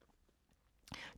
TV 2